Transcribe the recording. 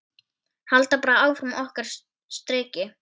Halda bara áfram okkar striki.